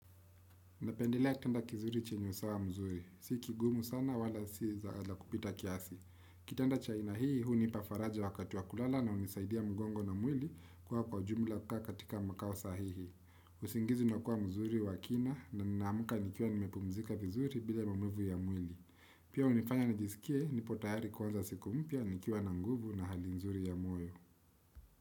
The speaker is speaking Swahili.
Napendelea chumba kizuri chenyo usawa mzuri siki kigumu sana wala si zaa kupita kiasi kitanda chaina hii hunipafaraja wakati wakulala na unisaidia mgongo na mwili kuwa kwaujumla kaa katika mkawo sahihi ssingizi nakuwa mzuri wakina na ninaamka nikiawa nimepumzika vizuri bila mamuvu ya mwili pia unifanya nijisikie nipo tahari kuwanza sikumpya nikiawa na nguvu na halinzuri ya mwoyo.